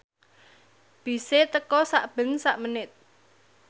bise teka sakben sak menit